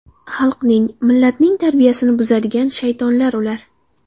Xalqning, millatning tarbiyasini buzadigan shaytonlar ular.